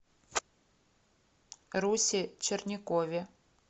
русе черникове